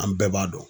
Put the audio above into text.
An bɛɛ b'a dɔn